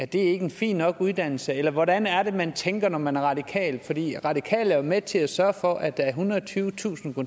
det ikke en fin nok uddannelse eller hvordan er det man tænker når man er radikal for det radikale jo med til at sørge for at der er ethundrede og tyvetusind